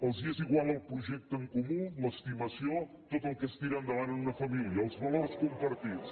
els és igual el projecte en comú l’estima·ció tot el que es tira endavant en una família els valors compartits